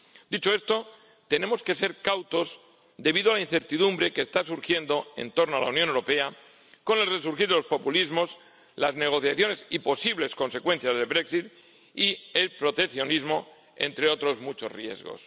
Dicho esto, tenemos que ser cautos debido a la incertidumbre que está surgiendo en torno a la Unión Europea con el resurgir de los populismos, las negociaciones y posibles consecuencias del Brexit y el proteccionismo, entre otros muchos riesgos.